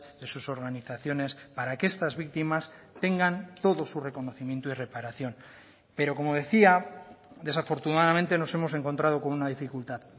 de sus organizaciones para que estas víctimas tengan todo su reconocimiento y reparación pero como decía desafortunadamente nos hemos encontrado con una dificultad